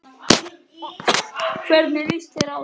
Hvernig líst þér á það